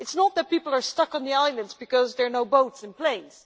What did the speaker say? it is not that people are stuck on the islands because there no boats and planes.